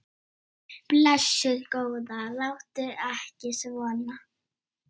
Blessuð góða, láttu ekki svona.